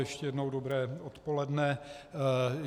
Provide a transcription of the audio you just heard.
Ještě jednou dobré odpoledne.